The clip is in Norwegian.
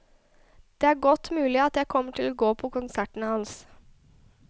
Det er godt mulig at jeg kommer til å gå på konserten hans.